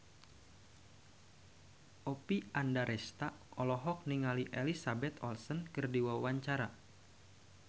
Oppie Andaresta olohok ningali Elizabeth Olsen keur diwawancara